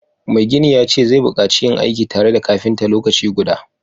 Mai gini ya ce zai bukaci yin aiki tare da kafinta lokaci guda